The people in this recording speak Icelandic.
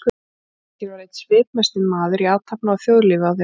Birgir var einn svipmesti maður í athafna- og þjóðlífi á þeim dögum.